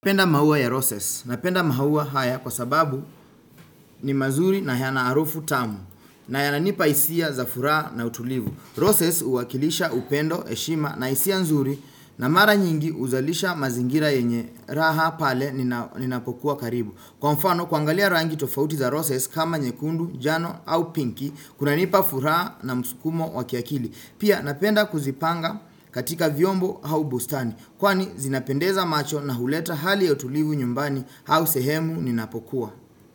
Penda maua ya roses napenda maua haya kwa sababu ni mazuri na yana harufu tamu na yana nipa hisia za furaha na utulivu. Roses uwakilisha upendo, heshima na hisia nzuri na mara nyingi uzalisha mazingira yenye raha pale ninapokuwa karibu. Kwa mfano kuangalia rangi tofauti za roses kama nyekundu, njano au pinky kuna nipa furaha na mskumo wakiakili. Pia napenda kuzipanga katika viombo au bustani Kwani zinapendeza macho na huleta hali ya utulivu nyumbani hau sehemu ninapokuwa.